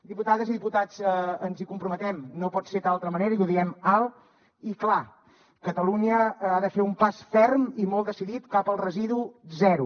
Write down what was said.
diputades i diputats ens hi comprometem no pot ser d’altra manera i ho diem alt i clar catalunya ha de fer un pas ferm i molt decidit cap al residu zero